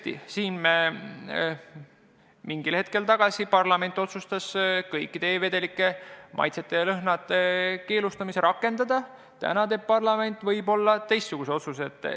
Tõesti, mingi aeg tagasi parlament otsustas kõikide e-vedelike maitsete ja lõhnade keelustamist rakendada, täna teeb parlament võib-olla teistsuguse otsuse.